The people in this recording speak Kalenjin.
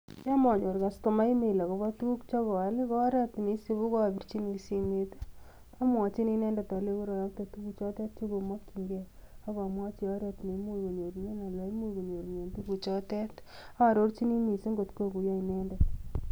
Yon monyoor kastoma email akobo tuguuk chekoal i,ko oret neisibu ko abirchini simoit, amwochini inendet alenyii koroyoktee tuguchotet chekomokyingei ak amwochi oret neimuch konyoorunen tuguchotet. Aarorchini missing kot kokuyoo inendet.